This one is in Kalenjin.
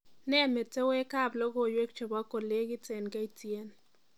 Nee metewekab logoiwek chebo kolekit eng K.T.N